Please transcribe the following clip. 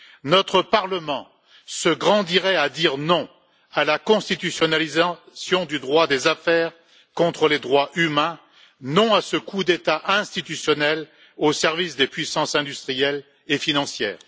Notre Parlement se grandirait à dire non à la constitutionnalisation du droit des affaires contre les droits humains, non à ce coup d'État institutionnel au service des puissances industrielles et financières!